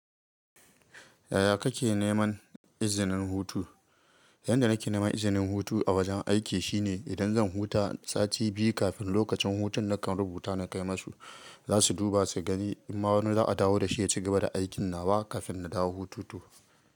Yaya kake neman izinin hutu? Yanda nake neman izinin hutu a wajen aiki shine idan zan huta sati biyu kafin lokacin hutun nakan rubuta na kai masu. Zasu duba su ga in ma wani za a dawo da shi ya cigaba da aikin nawa kafin na dawo hutu to.